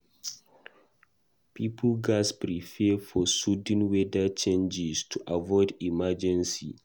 Pipo gatz prepare for sudden weather changes to avoid emergency.